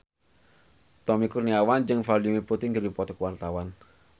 Tommy Kurniawan jeung Vladimir Putin keur dipoto ku wartawan